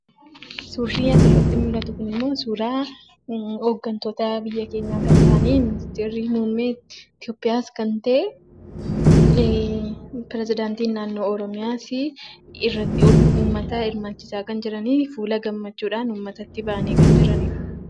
Suurri asirratti mul'atu kunimmoo suuraa hooggantoota biyya keenyaa kan ta'an ,ministeerri muummee Itoopiyaas kan ta'e, pirezidaantiin naannoo Oromiyaasii, uummata hirmaachisaa kan jiraniifi fuula gammachuudhaan kan jiranidha.